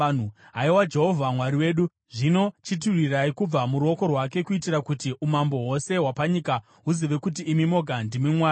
Haiwa Jehovha Mwari wedu, zvino chitirwirai kubva muruoko rwake, kuitira kuti umambo hwose hwapanyika huzive kuti imi moga, ndimi Mwari.”